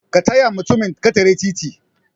kataya mutumin ketere titi